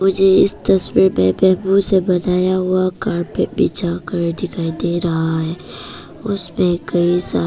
मुझे इस तस्वीर में बेम्बु से बनाया हुआ कार्पेट बिछा कर दिखाई दे रहा है उसपे कई सारे--